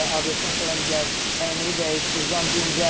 Abeddən sonra gəl, əynivi dəyiş, uzan, dincəl.